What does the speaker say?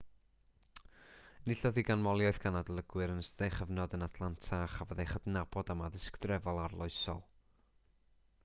enillodd hi ganmoliaeth gan adolygwyr yn ystod ei chyfnod yn atlanta a chafodd ei chydnabod am addysg drefol arloesol